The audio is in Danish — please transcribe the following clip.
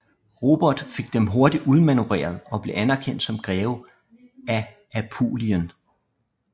Robert fik dem hurtigt udmanøvreret og blev anerkendt som greve af Apulien